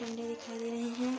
डंडे दिखाई दे रहे हैं।